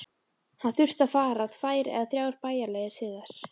Hann þurfti að fara tvær eða þrjá bæjarleiðir til þess.